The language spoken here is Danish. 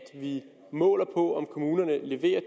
vi måler på om kommunerne leverer